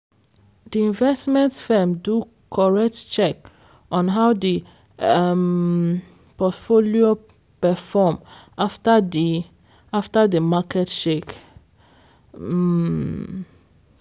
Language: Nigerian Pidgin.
di investment firm do correct check on how di um portfolio perform after di after di market shake. um